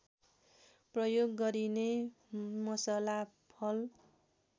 प्रयोग गरिने मसला फल